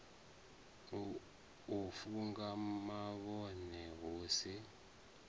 u funga mavhone hu si